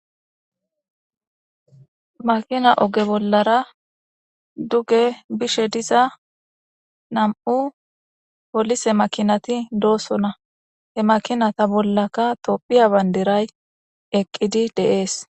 Makina oge bollara duge bishediza na'mu polise makinati do'sona he makina bollaka topheya banidiray eqidi de'ese